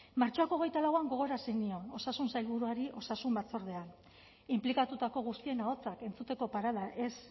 martxoak hogeita lauan gogorarazi nion osasun sailburuari osasun batzordean inplikatutako guztien ahotsak entzuteko parada ez